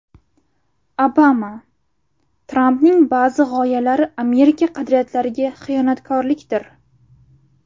Obama: Trampning ba’zi g‘oyalari Amerika qadriyatlariga xiyonatkorlikdir.